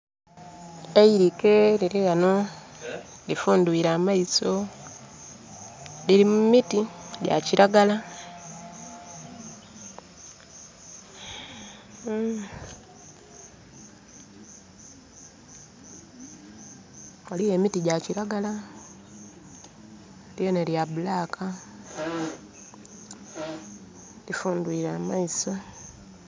Eilike liri ghano, lifundhwiile amaiso. Lili mu miti gya kiragala. Ghaligho emiti gya kiragala, lyona lya black. Lifundhwiile amaiso.